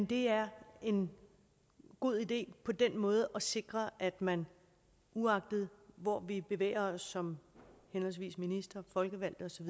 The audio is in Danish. det er en god idé på den måde at sikre at man uagtet hvor vi bevæger os som henholdsvis minister og folkevalgt osv